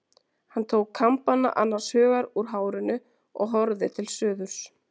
Hún tók kambana annars hugar úr hárinu og horfði til suðurs.